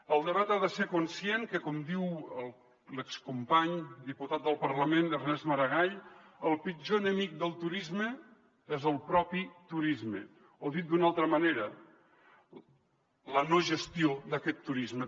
el debat ha de ser conscient que com diu l’excompany diputat del parlament ernest maragall el pitjor enemic del turisme és el propi turisme o dit d’una altra manera la no gestió d’aquest turisme